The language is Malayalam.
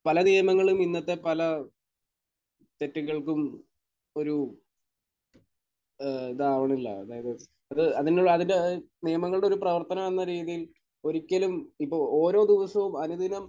പല നിയമങ്ങളിലും ഇന്നത്തെ പല തെറ്റുകൾക്കും ഒരു ഏഹ് ഇതാവണില്ല. അതായത് അത് അതിന്റെ ഏഹ് നിയമങ്ങളുടെ ഒരു പ്രവർത്തനം എന്ന രീതിയിൽ ഒരിക്കലും ഇപ്പോൾ ഓരോ ദിവസവും അനുദിനം